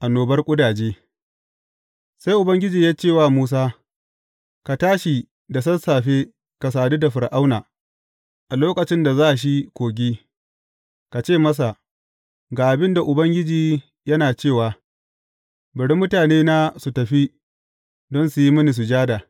Annobar ƙudaje Sai Ubangiji ya ce wa Musa, Ka tashi da sassafe ka sadu da Fir’auna a lokacin da za shi kogi, ka ce masa, Ga abin da Ubangiji yana cewa, bari mutanena su tafi, don su yi mini sujada.